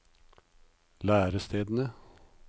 lærestedene